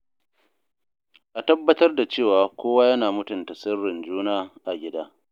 A tabbatar da cewa kowa yana mutunta sirrin juna a gida.